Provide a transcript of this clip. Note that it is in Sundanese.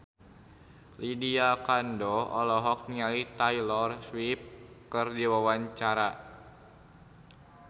Lydia Kandou olohok ningali Taylor Swift keur diwawancara